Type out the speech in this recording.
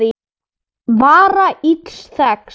vara ills þegns